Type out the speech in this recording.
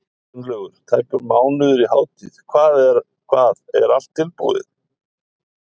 Gunnlaugur, tæpur mánuður í hátíð, hvað, er allt tilbúið?